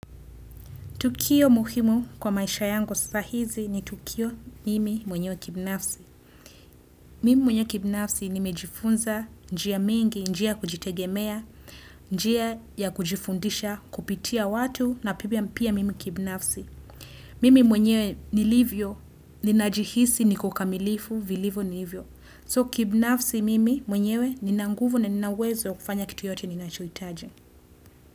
Tukio muhimu kwa maisha yangu saa hizi ni Tukio nimi mwenyewe kibnafsi. Mimi mwenyewe kibinafsi nimejifunza njia mingi, njia kujitegemea, njia ya kujifundisha kupitia watu na pia mimi kibnafsi. Mimi mwenyewe nilivyo, ninajihisi niko kamilifu vilivo nilivyo. So kibnafsi mwenyewe ninanguvu na ninauwezo kufanya kitu yote ninacho hitaji.